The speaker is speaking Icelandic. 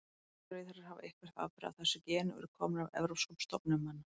Allir rauðhærðir hafa eitthvert afbrigði af þessu geni og eru komnir af evrópskum stofnum manna.